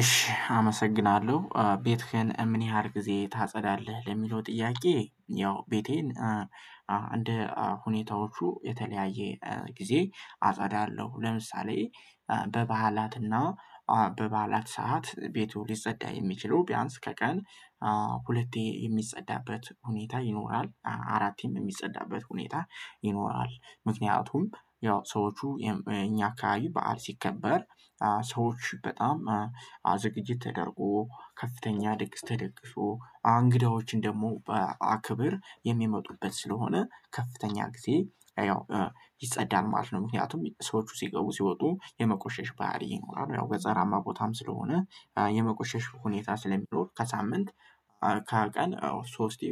እሺ አመሰግናለሁ ቤትህን ምን ያህል ጊዜ ታጸዳለህ ለሚለው ጥያቄ? ያው ቤቴን እንደ ሁኔታዎቹ የተለያየ ጊዜ አጸዳለው። ለምሳሌ በበዓላትና በበዓላት ሰዓት ቤቱ ሊጸዳ የሚችለው ቢያንስ ከቀን ሁለቴ የሚጸዳበት ሁኔታ ይኖራል አራቴም የሚጸዳበት ሁኔታ ይኖራል። ምክንያቱም ያው ሰዎቹ እኛ አካባቢ በዓል ሲከበር ሰዎች በጣም ዝግጅት ተደርጎ ከፍተኛ ድግስ ተደግሶ እንግዳዎችን ደግሞ በአክብ የሚመጡበት ስለሆነ ከፍተኛ ጊዜ ያው ይጸዳል ማለት ነው። ምክንያቱም ሰዎቹ ሲገቡ ሲወጡ የመቆሸሽ ባህሪ አለው ገጠራማ ቦታም ስለሆነ የመቆሸሽ ሁኔታ ስለሚኖር ከሳምንት ከቀን ሶስት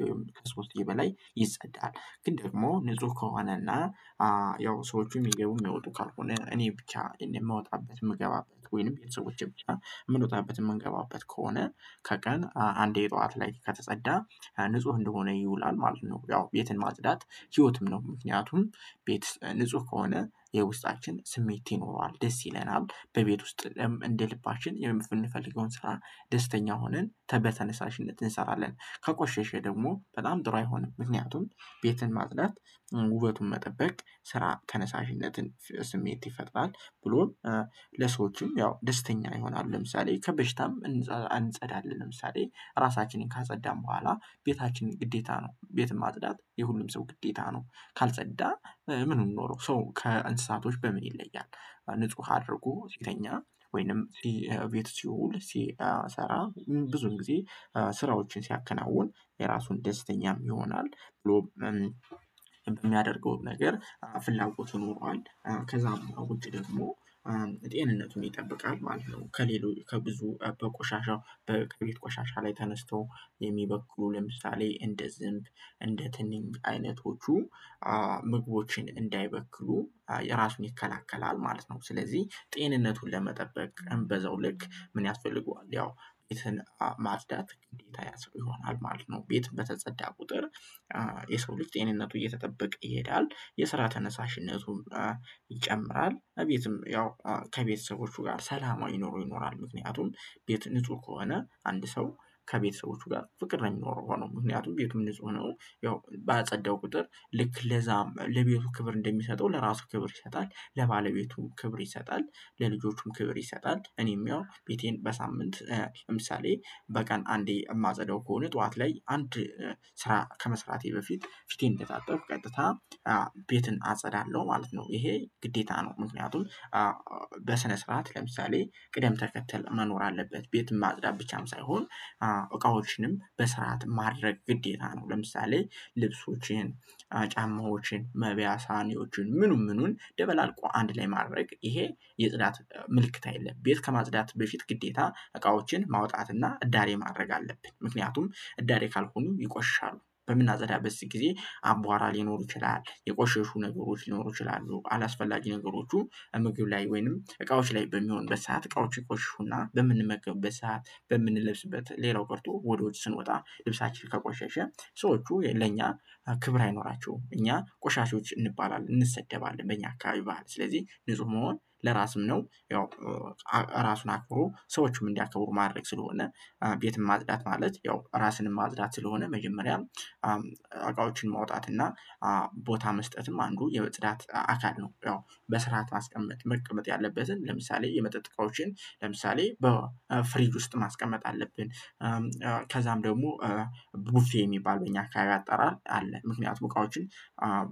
ሶስቴ በላይ ይጸዳል። ግን ደግሞ ንጹህ ከሆነና ያው ሰዎች የሚገቡ የሚወጡ ካልሆነ እኔ ብቻ የምወጣበት የምገባበት ወይም ቤተሰቦቼ ብቻ የምንወጣበት የምንገባበት ከሆነ ከቀን አንዴ ጠዋት ላይ ከተጸዳ ንጹህ እንደሆነ ይውላል ማለት ነው። ያው ቤትን ማጽዳት ህይወትም ነው። ምክንያቱም ንጹህ ከሆነ የውስጣችን ስሜት ይኖረዋል ደስ ይለናል በቤት ውስጥ እንደ ልባችን የምንፈልገውን ስራ ደስተኛ ሆነን በተነሳሽነት እንሰራለን። ከቆሸሸ ደግሞ በጣም ጥሩ አይሆንም ምክንያቱም ቤትን ማጽዳት ውበቱን መጠበቅ የስራ ተነሳሽነት ስሜት ይፈጥራል ብሎም ለሰዎችም ያው ደስተኛ ይሆናሉ። ለምሳሌ ከበሽታም እንጸዳለን ለምሳሌ ራሳችንን ካጸዳን በኋላ ቤታችንን ግዴታ ነው ቤት የማጽዳት የሁሉም ሰው ግዴታ ነው። ካልተጸዳ ምኑን ኖሮው ሰው ከእንስሳቶች በምን ይለያል? በንጹህ አድርጎ ሲተኛ ወይም ቤት ሲውል ሲሰራ ብዙ ጊዜ ስራዎችን ሲያከናውን የራሱን ደስተኛም ይሆናል ብሎ የሚያደርገውን ነገር ፍላጎቱን ኖሯል ከዚያም ውጭ ደግሞ ጤንነቱን ይጠብቃል ማለት ነው። ከሌሎች ከብዙ በቆሻሻ በቅርብ ቆሻሻ ላይ ተነስተው የሚበክሉ ለምሳሌ እንደ ዝንብ እንደ ትንኝ አይነቶቹ ምግቦችን እንዳይበክሉ የራሱን ይከላከላል ማለት ነው። ስለዚህ ጤንነቱን ለመጠበቅ በዛው ልክ ምን ያስፈልገዋል ያው ቤትን ማጽዳት እንዴት አይነት ይሆናል ማለት ነው። ቤት በተጸዳ ቍጥር የሰው ልጅ ጤንነቱ እየተጠበቀ ይሄዳል የስራ ተነሳሽነቱን ይጨምራል ቤትም ያው ከቤተሰቦቹ ጋር ሰላማዊ ኑሮው ይኖራል። ምክንያቱም ቤት ንጹህ ከሆነ አንድ ሰው ከቤተሰቦቹ ጋር ፍቅረኛ ሆኖ ምክንያቱም ቤቱ ንጹህ ሆኖ ያው ባጸዳኸው ቍጥር ልክ ለዚያም ለቤቱ ክብር እንደሚሰጠው ለራሱ ክብር ይሰጣል ለባለቤቱም ክብር ይሰጣል። ለልጆችም ክብር ይሰጣል እኔም ያው ቤቴን በሳምንት ለምሳሌ በቀን አንዴ የማጸዳው ከሆነ ጠዋት ላይ አንድ ስራ ከመስራቴ በፊት ፊቴን እንደታጠብኩ ቀጥታ ቤትን አጸዳለሁ ማለት ነው። ይሄ ግዴታ ነው። ምክንያቱም በስነ ስርዓት ለምሳሌ ቅደም ተከተል መኖር አለበት ቤትም ማጽዳት ብቻም ሳይሆን እቃዎችንም በስርዓት ማድረግ ግዴታ ነው። ለምሳሌ ልብሶችን ጫማዎችን መበያ ሳህኖችን ምኑን ምኑን ደበላልቆ አንድ ላይ ማድረግ ይሄ የጽዳት ምልክት አይደለም። ቤት ከማጽዳት በፊት ግዴታ እቃዎችን ማውጣት እና እዳሬ ማድረግ አለብን። ምክንያቱም እዳሬ ካልሆኑ ይቆሻሻሉ በምናጸዳበት ጊዜ አቧራ ሊኖሩ ይችላሉ የቆሻሹ ነገሮች ሊኖሩ ይችላሉ አላስፈላጊ ነገሮቹ እምግብ ላይ ወይም እቃዎች ላይ በሚሆኑበት ሰዓት እቃዎች ይቆሽሹና በምንመገብበት ሰዓት በምንለብስበት ሌላው ቀርቶ ወደ ውጭ ስንወጣ ልብሳችን ከቆሸሸ ሰዎቹ ለእኛ ክብር አይኖራቸውም እኛ ቆሻሾች እንባላለን እንሰደባለን በእኛ አካባቢ ባህል ስለዚህ ንጹህ መሆን ለራስም ነው። ያው ራሱን አክብሮ ሰዎችም እንዲያከብሩት ማድረግ ስለሆነ ቤትም ማጽዳት ማለት ያው ራስንም ማጽዳት ስለሆነ መጀመሪያ እቃዎችን ማውጣት እና ቦታ መስጠትም አንዱ የጽዳት አካል ነው። በስርዓት ማስቀመጥ መቀመጥ ያለበትን ለምሳሌ የመጠጥ እቃዎችን ለምሳሌ በፍሪጅ ውስጥ ማስቀመጥ አለብን። ከዚያም ደግሞ ቡፌ የሚባል በእኛ አካባቢ አጠራር አለ ምክንያቱም እቃዎችን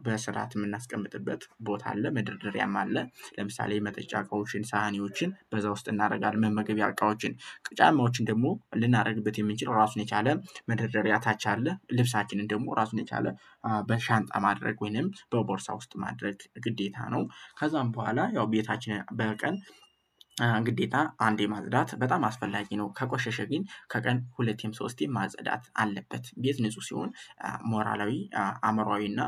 በስርዓት የምናስቀምጥበት ቦታ አለ መደርደሪያም አለ ለምሳሌ የመጠጫ እቃዎችን ሳህኖችን በዛ ውስጥ እናደርጋለን መመገቢያ እቃዎችን ጫማዎችን ደግሞ ልናደርግበት የምንችለው ራሱን የቻለ መደርደሪያ ደርያ ታች አለ ልብሳችንን ደግሞ ራሱን የቻለ በሻንጣ ማድረግ ወይም በቦርሳ ውስጥ ማድረግ ግዴታ ነው። ከዚያም በኋላ ያው ቤታችንን በቀን ግዴታ አንዴ ማጽዳት በጣም አስፈላጊ ነው። ከቆሸሸ ግን ከቀን ሁለትም ሶስቴም መጽዳት አለበት ቤት ንጹህ ሲሆን ሞራላዊ አእምሯዊ እና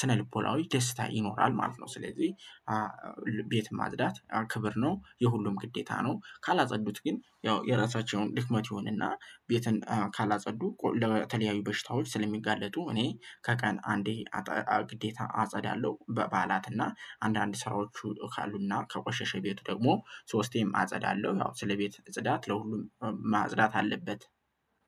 ስነ ልቦናዊ ደስታ ይኖራል ማለት ነው። ስለዚህ ቤት ማጽዳት ክብር ነው የሁሉም ግዴታ ነው። ካላጸዱት ግን ያው የራሳቸውን ድክመት ይሆንና ቤትን ካላጸዱ ለተለያዩ በሽታዎች ስለሚጋለጡ እኔ ከቀን አንዴ ግዴታ አጸዳለሁ በበዓላት እና አንዳንድ ስራዎቹ ካሉና ከቆሸሸ ቤቱ ደግሞ ሶስቴም አጸዳለሁ ያው ስለቤት ጽዳት ለሁሉም ማጽዳት አለበት።